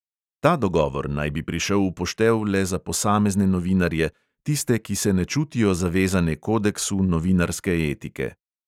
Ta dogovor naj bi prišel v poštev le za posamezne novinarje, tiste, ki se ne čutijo zavezane kodeksu novinarske etike.